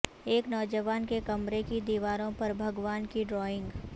ایک نوجوان کے کمرہ کی دیواروں پر بھگوان کے ڈرائنگ